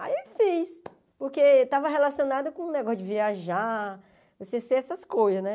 Aí eu fiz, porque estava relacionada com o negócio de viajar, você ser essas coisas, né?